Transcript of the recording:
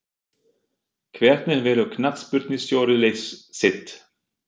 Hvernig velur knattspyrnustjóri lið sitt?